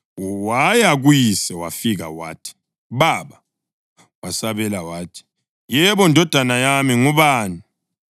Waya kuyise wafika wathi, “Baba.” Wasabela wathi, “Yebo, ndodana yami. Ngubani?”